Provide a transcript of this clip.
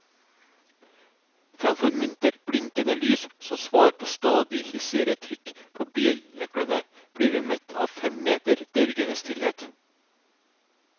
Fremfor muntert blinkende lys som svar på stadig hissigere trykk på bilnøkkelen, blir vi møtt av fem meter dørgende stillhet.